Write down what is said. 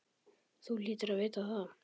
Þú hlýtur að vita það.